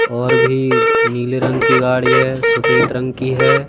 और भी नीली रंग की गाड़ी है सफेद रंग की हैं।